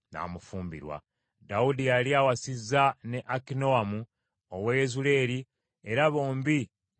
Dawudi yali awasizza ne Akinoamu ow’e Yezuleeri, era bombi ne baba bakyala be.